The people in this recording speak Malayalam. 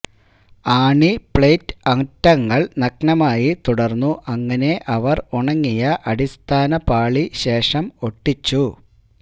ആണി പ്ലേറ്റ് അറ്റങ്ങൾ നഗ്നമായി തുടർന്നു അങ്ങനെ അവർ ഉണങ്ങിയ അടിസ്ഥാന പാളി ശേഷം ഒട്ടിച്ചു